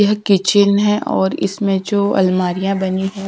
Kitchen है और इसमें जो अलमारियां बनी हैं।